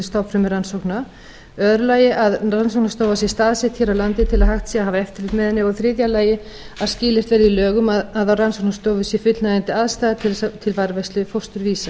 stofnfrumurannsókna í öðru lagi að rannsóknarstofa sé staðsett hér á landi til að hægt sé að hafa eftirlit með henni og í þriðja lagi að skilyrt verði í lögum að í rannsóknarstofu sé fullnægjandi aðstaða til varðveislu fósturvísa